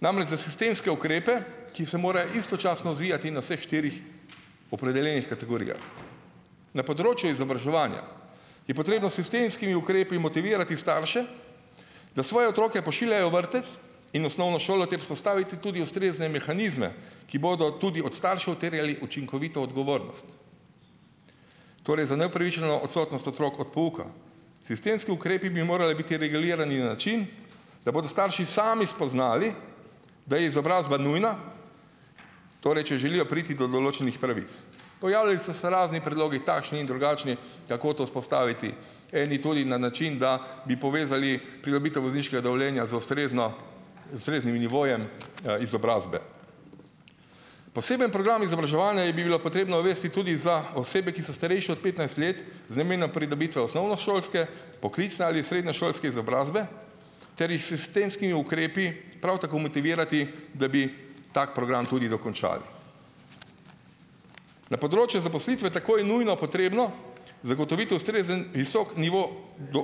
namreč za sistemske ukrepe, ki se morajo istočasno odvijati na vseh štirih opredeljenih kategorijah. Na področju izobraževanja je potrebno s sistemskimi ukrepi motivirati starše, da svoje otroke pošiljajo v vrtec in osnovno šolo ter vzpostaviti tudi ustrezne mehanizme, ki bodo tudi od staršev terjali učinkovito odgovornost. Torej za neupravičeno odsotnost otrok od pouka. Sistemski ukrepi bi morali biti regulirani na način, da bodo starši sami spoznali, da je izobrazba nujna, torej če želijo priti do določenih pravic. Pojavljali so se razni predlogi, takšni in drugačni, kako to vzpostaviti, eni tudi na način, da bi povezali pridobitev vozniškega dovoljenja z ustrezno ustreznim nivojem izobrazbe. Poseben program izobraževanja je bi bilo potrebno uvesti tudi za osebe, ki so starejši od petnajst let, z namenom pridobitve osnovnošolske, poklicne ali srednješolske izobrazbe, ter jih s sistemskimi ukrepi prav tako motivirati, da bi tak program tudi dokončali. Na področju zaposlitve je takoj nujno potrebno zagotoviti ustrezen visok nivo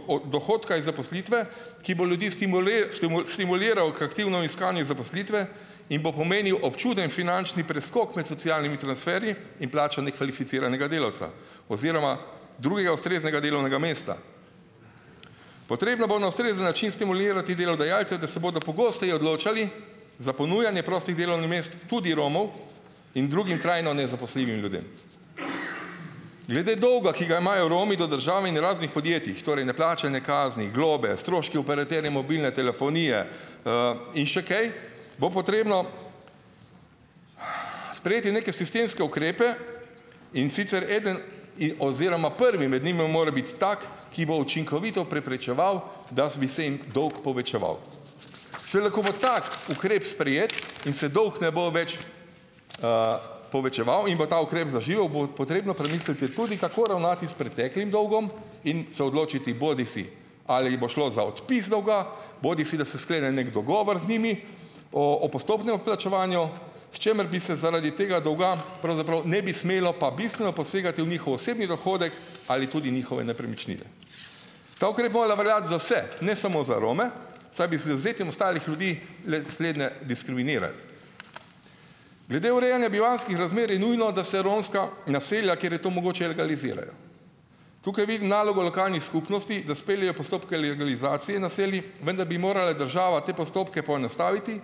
o dohodka iz zaposlitve, ki bo ljudi stimuliral k aktivnemu iskanju zaposlitve in bo pomenil občuten finančni preskok med socialnimi transferji in plačo nekvalificiranega delavca oziroma drugega ustreznega delovnega mesta. Potrebno bo na ustrezen način stimulirati delodajalce, da se bodo pogosteje odločali za ponujanje prostih delovnih mest tudi Romov in drugim trajno nezaposljivim ljudem. Glede dolga, ki ga imajo Romi do države in raznih podjetjih, torej neplačane kazni, globe, stroški operaterja mobilne telefonije in še kaj, bo potrebno sprejeti neke sistemske ukrepe, in sicer eden in oziroma prvi med njimi mora biti tak, ki bo učinkovito preprečeval, da bi se jim dolg povečeval. Šele ko bo tak ukrep sprejet in se dolg ne bo več povečeval in bo ta ukrep zaživel, bo potrebno premisliti tudi, kako ravnati s preteklim dolgom, in se odločiti, bodisi ali bo šlo za odpis dolga bodisi da se sklene neki dogovor z njimi o o postopnem odplačevanju, s čimer bi se zaradi tega dolga pravzaprav ne bi smelo pa bistveno posegati v njihov osebni dohodek ali tudi njihove nepremičnine. Ta ukrep bi morala veljati za vse, ne samo za Rome, saj bi z izvzetjem ostalih ljudi le slednje diskriminiral. Glede urejanja bivanjskih razmer je nujno, da se romska naselja, kjer je to mogoče, legalizirajo. Tukaj vidim nalogo lokalnih skupnosti, da speljejo postopke legalizacije naselij, vendar bi morala država te postopke poenostaviti,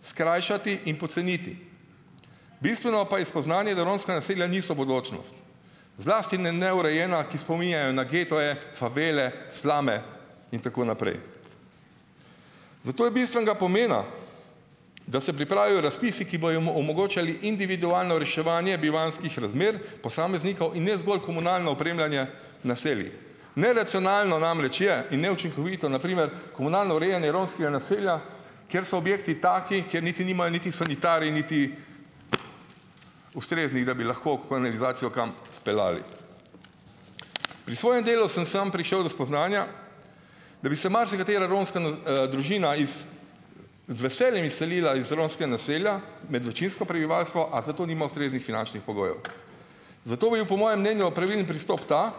skrajšati in poceniti. Bistveno pa je spoznanje, da romska naselja niso bodočnost, zlasti ne neurejena, ki spominjajo na gete, favele, slume, in tako naprej. Zato je bistvenega pomena, da se pripravijo razpisi, ki bojo omogočali individualno reševanje bivanjskih razmer posameznikov in ne zgolj komunalno opremljanje naselij. Neracionalno namreč je in neučinkovito na primer komunalno urejanje romskega naselja, kjer so objekti taki, kjer niti nimajo niti sanitarij niti ustreznih, da bi lahko kanalizacijo kam speljali. Pri svojem delu sem samo prišel do spoznanja, da bi se marsikatera romska na družina z veseljem izselila iz romskega naselja med večinsko prebivalstvo, a za to nima ustreznih finančnih pogojev. Zato bi bil po mojem mnenju pravilen pristop ta,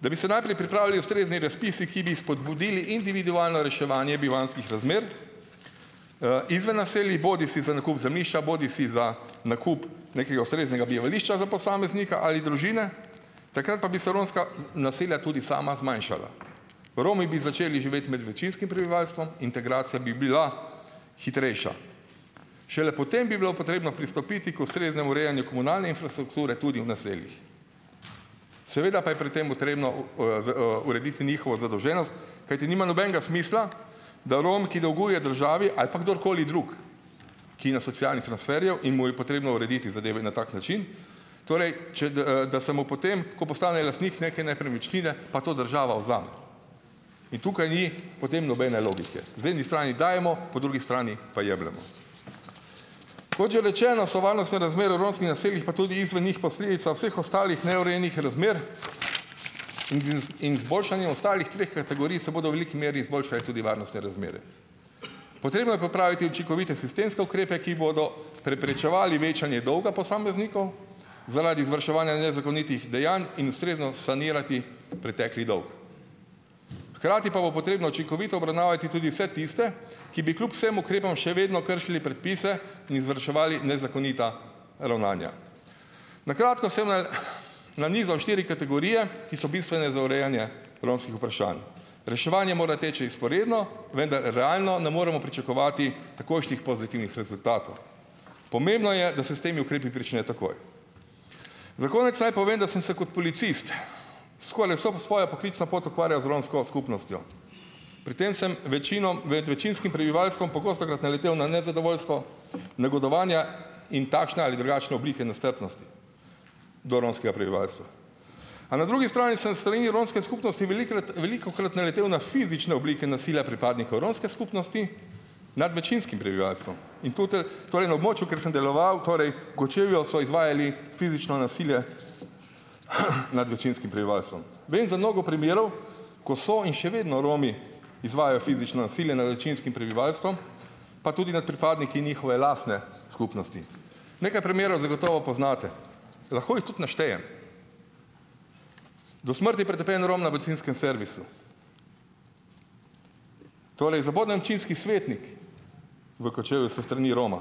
da bi se najprej pripravili ustrezni razpisi, ki bi spodbudili individualno reševanje bivanjskih razmer izven naselij bodisi za nakup zemljišča bodisi za nakup nekega ustreznega bivališča za posameznika ali družine, takrat pa bi se romska naselja tudi sama zmanjšala. Romi bi začeli živeti med večinskim prebivalstvom, integracija bi bila hitrejša. Šele potem bi bilo potrebno pristopiti k ustreznemu urejanju komunalne infrastrukture tudi v naseljih. Seveda pa je pri tem potrebno z urediti njihovo zadolženost, kajti nima nobenega smisla, da Rom, ki dolguje državi ali pa kdorkoli drug, ki je na socialnih transferjev in mu je potrebno urediti zadeve na tak način, torej čed, da se mu potem, ko postane lastnik neke nepremičnine, pa to država vzame in tukaj ni potem nobene logike. Z eni strani dajemo, po drugi strani pa jemljemo. Kot že rečeno, so varnostne razmere v romskih naseljih, pa tudi izven njih, posledica vseh ostalih neurejenih razmer in z iz in izboljšanje ostalih treh kategorij se bodo v veliki meri izboljšale tudi varnostne razmere. Potrebno je popraviti učinkovite sistemske ukrepe, ki bodo preprečevali večanje dolga posameznikov zaradi izvrševanja nezakonitih dejanj in ustrezno sanirati pretekli dolg. Hkrati pa bo potrebno učinkovito obravnavati tudi vse tiste, ki bi kljub vsem ukrepom še vedno kršili predpise in izvrševali nezakonita ravnanja. Na kratko sem na nanizal štiri kategorije, ki so bistvene za urejanje romskih vprašanj. Reševanje mora teči vzporedno, vendar realno ne moremo pričakovati takojšnjih pozitivnih rezultatov. Pomembno je, da se s temi ukrepi prične takoj. Za konec naj povem, da sem se kot policist skoraj vso svojo poklicno pot ukvarjal z romsko skupnostjo. Pri tem sem večino ved večinskim prebivalstvom pogostokrat naletel na nezadovoljstvo, negodovanja in takšne ali drugačne oblike nestrpnosti do romskega prebivalstva. A na drugi strani sem s strani romske skupnosti velikokrat velikokrat naletel na fizične oblike nasilja pripadnikov romske skupnosti nad večinskim prebivalstvom. In tutel torej, na območju, kjer sem deloval, torej v Kočevju, so izvajali fizično nasilje nad večinskim prebivalstvom. Vem za mnogo primerov, ko so in še vedno Romi izvajajo fizično nasilje nad večinskim prebivalstvom, pa tudi nad pripadniki njihove lastne skupnosti. Nekaj primerov zagotovo poznate. Lahko jih tudi naštejem: do smrti pretepen Rom na bencinskem servisu, torej zaboden občinski svetnik v Kočevju s strani Roma,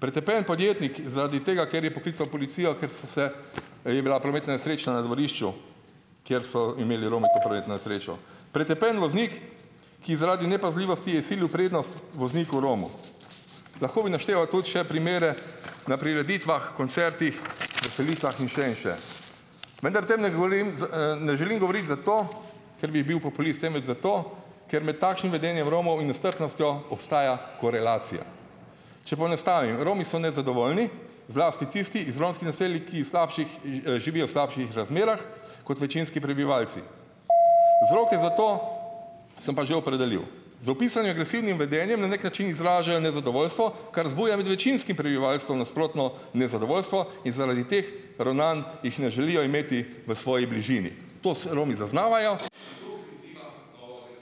pretepen podjetnik zaradi tega, ker je poklical policijo, ker se se, je bila prometna nesreča na dvorišču, kjer so imeli Romi to prometno nesrečo, pretepen voznik, ki je zaradi nepazljivosti izsilil prednost vozniku Romu. Lahko bi našteval tudi še primere na prireditvah, koncertih, veselicah in še in še. Vendar o tem ne govorim, z ne želim govoriti zato, ker bi bil populist, temveč zato, ker med takšnim vedenjem Romov in nestrpnostjo obstaja korelacija. Če poenostavim, Romi so nezadovoljni, zlasti tisti iz romskih naseljih, ki slabših in živijo v slabših razmerah kot večinski prebivalci. Vzroke za to sem pa že opredelil. Z opisanim agresivnim vedenjem na neki način izražajo nezadovoljstvo, kar zbuja med večinskim prebivalstvom nasprotno nezadovoljstvo in zaradi teh ravnanj jih ne želijo imeti v svoji bližini. Tos Romi zaznavajo ...